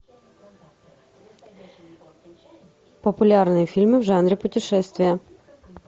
популярные фильмы в жанре путешествия